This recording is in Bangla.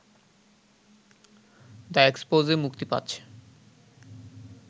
দ্য এক্সপোজে মুক্তি পাচ্ছে